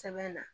Sɛbɛn na